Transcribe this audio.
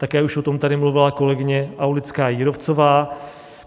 Také už o tom tady mluvila kolegyně Aulická Jírovcová.